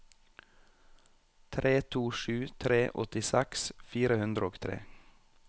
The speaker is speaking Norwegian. tre to sju tre åttiseks fire hundre og tre